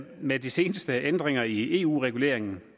med de seneste ændringer i eu reguleringen